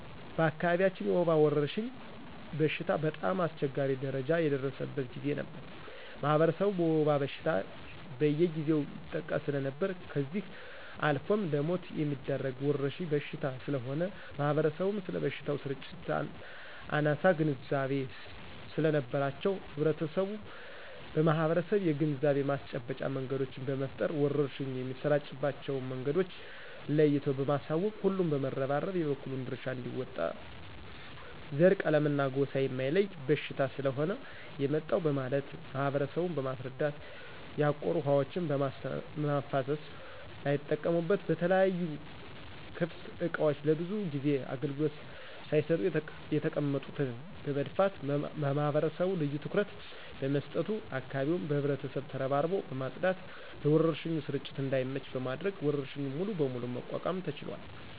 በአካባቢያችን የወባ ወረርሽኝ በሽታ በጣም አስቸጋሪ ደረጃ ላይ የደረሰበት ጊዜ ነበር ማህበረሰቡ በወባ በሽታ በየጊዜው ይጠቃ ሰለነበር ከዚህ አልፎም ለሞት የሚዳርግ ወረርሽኝ በሽታ ስለሆነ ማህበረሰቡም ስለበሽታው ስርጭት አናሳ ግንዛቤ ሰለነበራቸው ህብረተሰቡን በማሰባሰብ የግንዛቤ ማስጨበጫ መንገዶችን በመፍጠር ወረርሽኙ የሚሰራጭባቸው መንገዶችን ለይቶ በማሳወቅ ሁሉም በመረባረብ የበኩሉን ድርሻ አንዲወጣ ዘረ :ቀለምና ጎሳ የማይለይ በሽታ ስለሆነ የመጣው በማለት ማህበረሰቡን በማስረዳት ያቆሩ ውሀዎችን በማፋሰስና ላይጠቀሙበት በተለያዩ ክፍት እቃዎች ለብዙ ጊዜ አገልግሎት ሳይሰጡ የተቀመጡትን በመድፋት ማህበረሰቡ ልዮ ትኩረት በመስጠቱ አካባቢውን በህብረት ተረባርቦ በማጽዳት ለወረርሽኙ ስርጭት እዳይመች በማድረግ ወረርሽኙን ሙሉ በሙሉ መቋቋም ተችሏል።